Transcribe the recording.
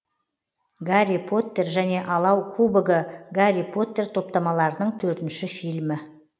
гарри поттер және алау кубогы гарри поттер топтамаларының төртінші фильмі